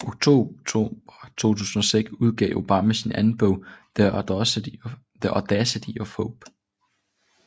Oktober 2006 udgav Obama sin anden bog The audacity of hope